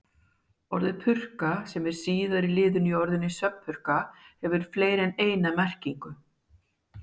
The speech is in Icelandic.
Orðið purka, sem er síðari liðurinn í orðinu svefnpurka, hefur fleiri en eina merkingu.